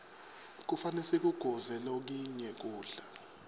kufane sikuguze lokinye kudla